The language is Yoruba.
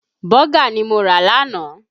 Bọ́gà ni mo rà lánàá